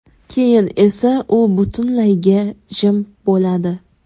Keyin esa u butunlayga jim bo‘ladi.